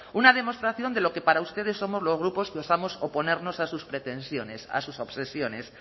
una demostración de lo que para ustedes somos los grupos que osamos oponernos a sus pretensiones a sus obsesiones